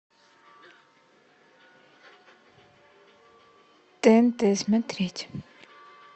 тнт смотреть